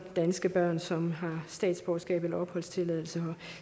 danske børn som har statsborgerskab eller opholdstilladelse her